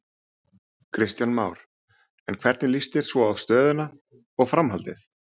Kristján Már: En hvernig líst svo á stöðuna og framhaldið?